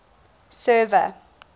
server